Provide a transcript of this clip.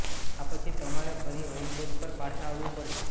આ પછી તમારે ફરી હોમ પેજ પર પાછા આવવું પડશે